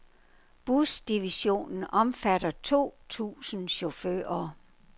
Busdivisionen omfatter to tusind chauffører.